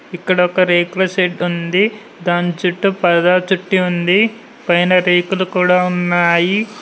ఇక్కడ ఒక రేకుల షెడ్ ఉంది దాని చుట్టూ పరదా చుట్టి ఉంది పైన రేకులు కూడా ఉన్నాయి.